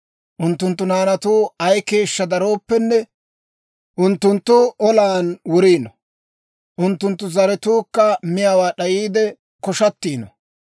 Unttunttu naanatuu ay keeshshaa darooppenne, unttunttu olan wuriino; unttunttu zaratuukka miyaawaa d'ayiide koshshatiino.